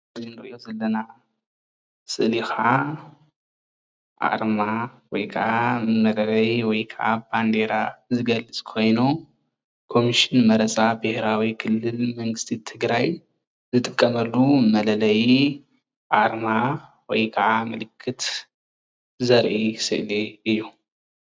እዚ እንሪኦ ዘለና ስእሊ ከዓ አርማ ወይ ከዓ መለለዪ ወይከዓ ባንዴራ ዝገልፅ ኮይኑ ኮሙሽን መረፃ ብሄራዊ ክልል መንግስቲ ትግራይ ዝጥቀመሉ መለለዪ አርማ ወይከዓ ምልክት ዘርኢ ሰእሊ እዩ